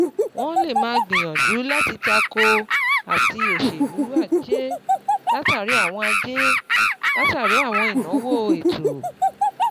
Wọ́n lè máa gbìyànjú láti tako àti òṣèlú ajé látàri àwọn ajé látàri àwọn ìnáwó ètò.